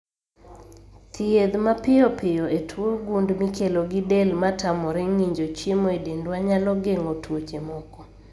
Thiedh ma piyopiyo e tuo gund mikelo gi del matamore ng'injo chiemo e dendwa nyalo geng'o tuoche moko